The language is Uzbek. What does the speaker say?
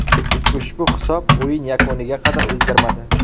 Ushbu hisob o‘yin yakuniga qadar o‘zgarmadi.